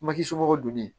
Maki somɔgɔ don ne